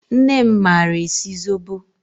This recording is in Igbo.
Nne m maara esi zobo